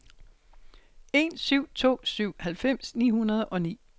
en syv to syv halvfems ni hundrede og ni